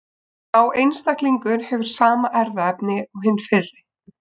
Sá einstaklingur hefur sama erfðaefni og hinn fyrri.